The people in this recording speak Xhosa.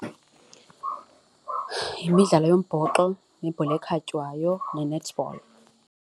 Yimidlalo yombhoxo, nebhola ekhatywayo ne-netball.